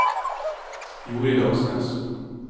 Jorid Aksnes